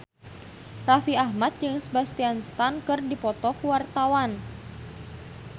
Raffi Ahmad jeung Sebastian Stan keur dipoto ku wartawan